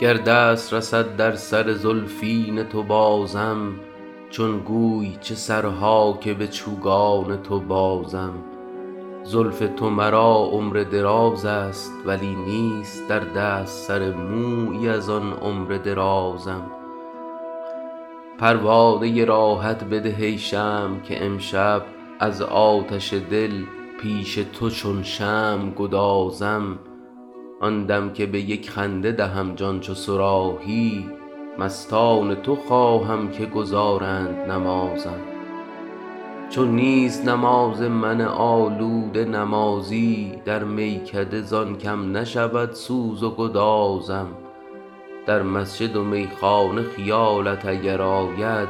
گر دست رسد در سر زلفین تو بازم چون گوی چه سرها که به چوگان تو بازم زلف تو مرا عمر دراز است ولی نیست در دست سر مویی از آن عمر درازم پروانه راحت بده ای شمع که امشب از آتش دل پیش تو چون شمع گدازم آن دم که به یک خنده دهم جان چو صراحی مستان تو خواهم که گزارند نمازم چون نیست نماز من آلوده نمازی در میکده زان کم نشود سوز و گدازم در مسجد و میخانه خیالت اگر آید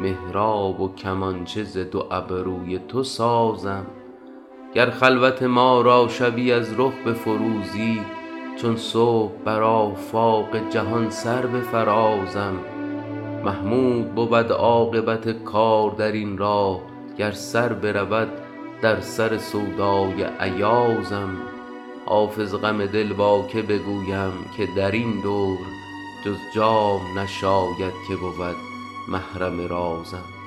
محراب و کمانچه ز دو ابروی تو سازم گر خلوت ما را شبی از رخ بفروزی چون صبح بر آفاق جهان سر بفرازم محمود بود عاقبت کار در این راه گر سر برود در سر سودای ایازم حافظ غم دل با که بگویم که در این دور جز جام نشاید که بود محرم رازم